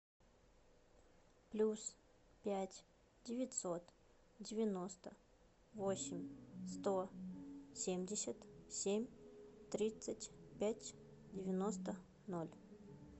плюс пять девятьсот девяносто восемь сто семьдесят семь тридцать пять девяносто ноль